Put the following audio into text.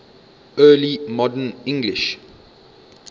early modern english